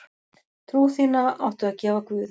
Trú þína áttu að gefa guði.